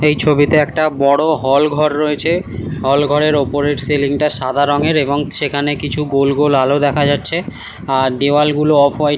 এই ছবিটা একটা বড় হল ঘর রয়েছে। হল ঘরের উপরের সিলিংটা সাদা রঙের এবং সেখানে কিছু গোল গোল আলো দেখা যাচ্ছে আর দেওয়াল গুলো অফ হোয়াইট ।